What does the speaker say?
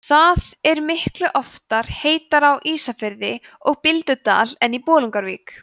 það er miklu oftar heitara á ísafirði og bíldudal en í bolungarvík